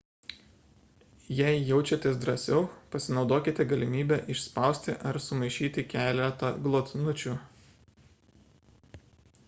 jei jaučiatės drąsiau pasinaudokite galimybe išspausti ar sumaišyti keletą glotnučių